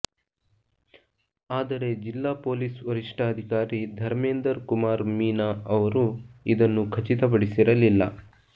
ಆದರೆ ಜಿಲ್ಲಾ ಪೊಲೀಸ್ ವರಿಷ್ಠಾಧಿಕಾರಿ ಧರ್ಮೇಂದರ್ ಕುಮಾರ್ ಮೀನಾ ಅವರು ಇದನ್ನು ಖಚಿತ ಪಡಿಸಿರಲಿಲ್ಲ